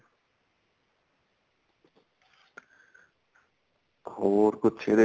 ਹੋਰ ਕੁੱਝ ਇਹਦੇ